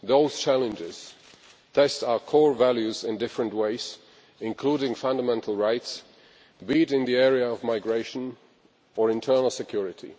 Those challenges test our core values in different ways, including in respect of fundamental rights, be it in the area of migration or internal security.